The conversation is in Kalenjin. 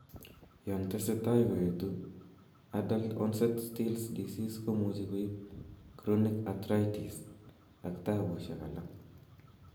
Yon tesetai koetu, adult onset still's disease komuche koib chronich arthritis ak tabusiek alak